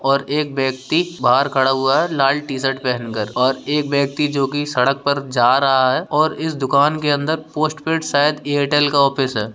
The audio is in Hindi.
और एक व्यक्ति बाहर खड़ा हुआ है लाल टी शर्ट पहन कर और एक व्यक्ति जो कि सड़क पर जा रहा है और इस दुकान के अंदर पोस्टपेड शायद एयरटेल का ऑफिस है।